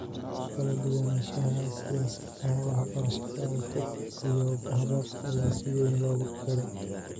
Kala duwanaanshaha siyaasadaha waxbarashada fog iyo hababka ayaa si weyn loo qiray.